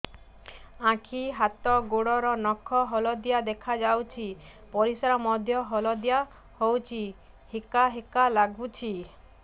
ଆଖି ହାତ ଗୋଡ଼ର ନଖ ହଳଦିଆ ଦେଖା ଯାଉଛି ପରିସ୍ରା ମଧ୍ୟ ହଳଦିଆ ହଉଛି ହିକା ହିକା ଲାଗୁଛି